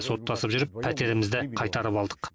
соттасып жүріп пәтерімізді қайтарып алдық